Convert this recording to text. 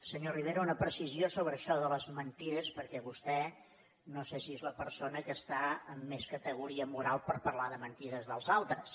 senyor rivera una precisió sobre això de les mentides perquè vostè no sé si és la persona que està amb més categoria moral per parlar de mentides dels altres